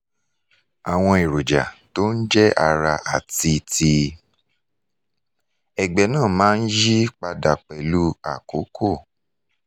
àwọn èròjà tó ń jẹ́ ara àti ti ẹ̀gbẹ́ náà máa ń yí padà pẹ̀lú àkókò